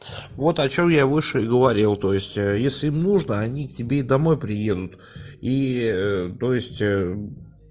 вот о чём я выше и говорил то есть если нужно они тебе домой приедут и то есть